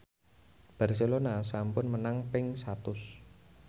Barcelona sampun menang ping satus